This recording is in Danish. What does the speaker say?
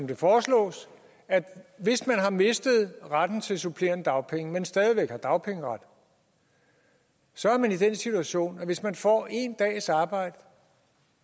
det foreslås at hvis man har mistet retten til supplerende dagpenge men stadig væk har dagpengeret så er man i den situation at hvis man får en dags arbejde